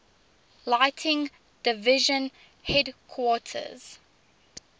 lighting division headquarters